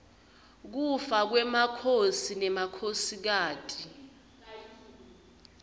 kufa kwemakhosi nemakhosikati